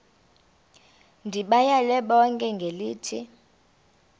ndibayale bonke ngelithi